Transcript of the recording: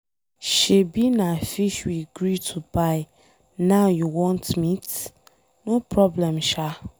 Shebi na fish we gree to buy now you want meat. No problem shaa.